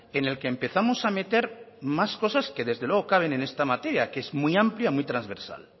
en el que empezamos a meter más cosas que desde luego caben en esta materia que es muy amplia muy transversal